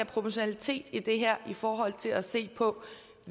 proportionalitet i det her i forhold til at se på